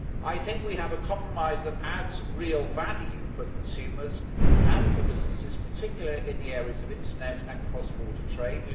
I think we have a compromise that adds real value for consumers and for businesses, particularly in the areas of internet and cross border trade.